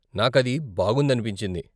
నాకు అది బాగుందనిపించింది.